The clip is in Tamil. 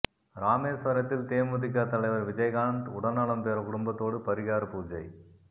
ராமேஸ்வரத்தில் தேமுதிக தலைவர் விஜயகாந்த் உடல்நலம் பெற குடும்பத்தோடு பரிகார பூஜை